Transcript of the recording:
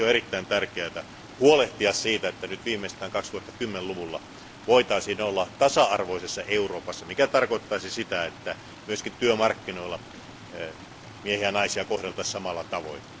Siksi on erittäin tärkeää huolehtia siitä, että nyt viimeistään 2010 luvulla voitaisiin olla tasa arvoisessa Euroopassa, mikä tarkoittaisi sitä, että myöskin työmarkkinoilla miehiä ja naisia kohdeltaisiin samalla tavoin.